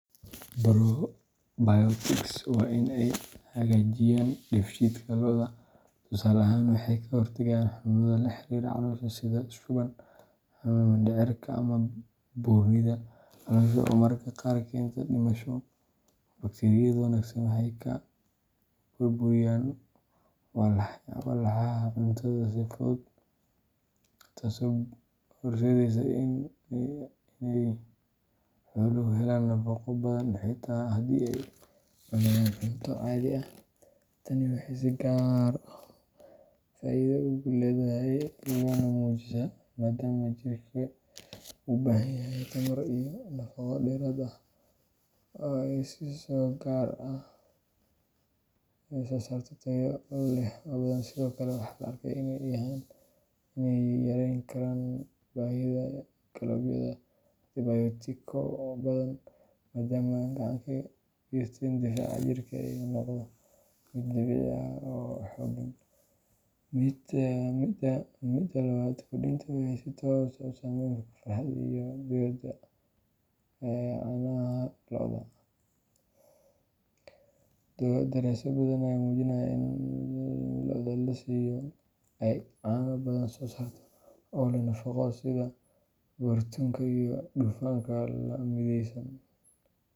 Probiotics waa in ay hagaajiyaan dheefshiidka lo’da. Tusaale ahaan, waxay ka hortagaan xanuunnada la xiriira caloosha sida shuban, xanuunka mindhicirka, ama buurnida caloosha oo mararka qaar keenta dhimasho. Bakteeriyada wanaagsan waxay kala burburiyaan walxaha cuntada si fudud, taasoo horseedda in xooluhu helaan nafaqo badan xitaa haddii ay cunayaan cunto caadi ah. Tani waxay si gaar ah faa’iido ugu leedahay lo’da nuujisa, maadaama jirkeedu u baahan yahay tamar iyo nafaqo dheeraad ah si ay u soo saarto caano tayo leh oo badan. Sidoo kale, waxaa la arkay in ay yarayn karaan baahida loo qabo antibiyootiko badan, maadaama ay gacan ka geystaan difaaca jirka oo noqda mid dabiici ah oo xooggan. Midda labaad, kordhinta waxay si toos ah u saameeyaan tayada iyo tirada caanaha lo’da. Daraasado badan ayaa muujiyey in lo’da la siiyo ay caano badan soo saarto, oo leh nafaqo sare sida borotiinka iyo dufanka la midaysan.